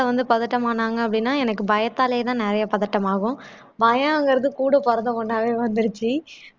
வந்து பதட்டம் ஆனாங்க அப்படின்னா எனக்கு பயத்தாலேதான் நிறைய பதட்டம் ஆகும் பயம்ங்கறது கூட பொறந்த ஒண்ணாவே வந்துருச்சு